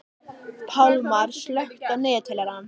Pálmar, slökktu á niðurteljaranum.